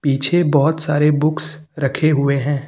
पीछे बहोत सारे बुक्स रखें हुए हैं।